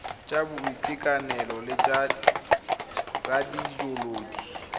tsa boitekanelo le tsa radioloji